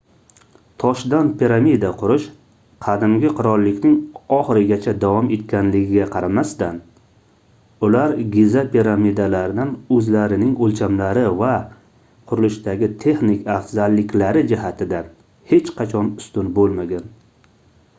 toshdan piramida qurish qadimgi qirollikning oxirigacha davom etganligiga qaramasdan ular giza piramidalaridan oʻzlarining oʻlchamlari va qurilishdagi texnik afzalliklari jihatidan hech qachon ustun boʻlmagan